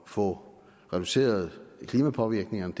få reduceret klimapåvirkningerne